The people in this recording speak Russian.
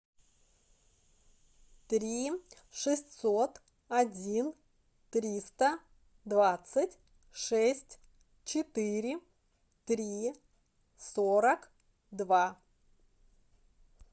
три шестьсот один триста двадцать шесть четыре три сорок два